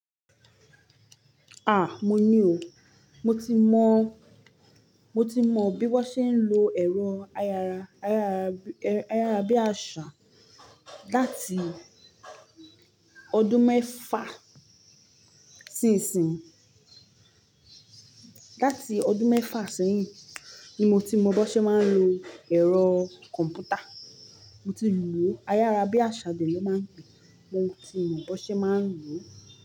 Ah! Mo ni o. Mo ti mọ, mo ti mọ bí wón ṣe ń lo ẹ̀rọ ayara, ayara, ayára bí àṣá láti ọdún mẹ́fa isinsinyi. Láti ọdún mẹ́fa seyin ni mo ti mọ bí wón ṣe máa ń lo ẹ̀rọ kọ̀m̀pútà. Mo tilo ayára bí àṣá dè ló máa ń pè é, mo ti mọ bí wón ṣe máa ń lò ó.